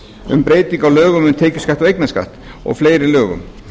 um breyting á lögum um tekjuskatt og eignarskatt og fleiri lögum